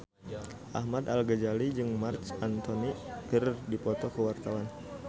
Ahmad Al-Ghazali jeung Marc Anthony keur dipoto ku wartawan